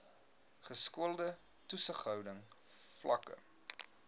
geskoolde toesighouding vlakke